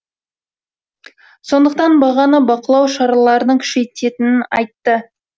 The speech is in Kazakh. сондықтан бағаны бақылау шараларының күшейетінін айтты